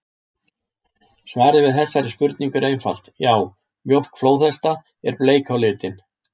Svarið við þessari spurningu er einfalt: Já, mjólk flóðhesta er bleik á litinn!